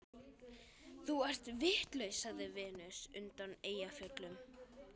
Þú ert vitlaus, sagði Venus undan Eyjafjöllum.